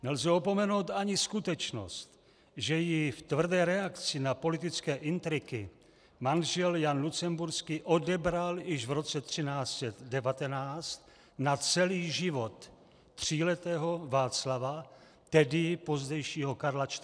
Nelze opomenout ani skutečnost, že jí v tvrdé reakci na politické intriky manžel Jan Lucemburský odebral již v roce 1319 na celý život tříletého Václava, tedy pozdějšího Karla IV.